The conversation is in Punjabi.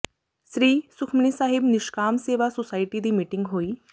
ਸ੍ਰੀ ਸੁਖਮਨੀ ਸਾਹਿਬ ਨਿਸ਼ਕਾਮ ਸੇਵਾ ਸੁਸਾਇਟੀ ਦੀ ਮੀਟਿੰਗ ਹੋਈ